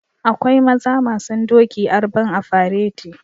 Akwai maza masun doki arban a fereti